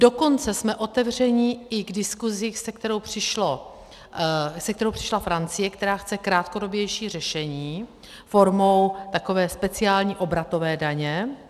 Dokonce jsme otevřeni i k diskusi, se kterou přišla Francie, která chce krátkodobější řešení formou takové speciální obratové daně.